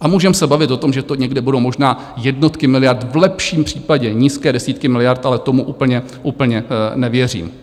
A můžeme se bavit o tom, že to někde budou možná jednotky miliard, v lepším případě nízké desítky miliard, ale tomu úplně nevěřím.